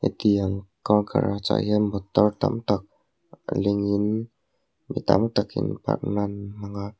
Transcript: hetiang car garage ah hian motor tam tak lengin mi tam takin park nan an hmang a.